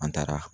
An taara